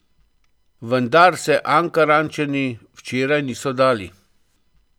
Vendar se Ankarančani včeraj niso dali.